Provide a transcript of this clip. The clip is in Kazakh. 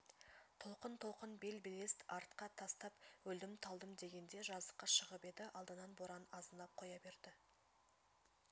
толқын-толқын бел-белест артқа тастап өлдім-талдым дегенде жазыққа шығып еді алдынан боран азынап қоя берді